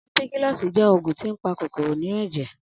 Ampikilosi je oògùn tí ń pa kòkòrò inú èjè